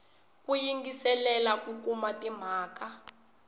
ku yingiselela ku kuma timhaka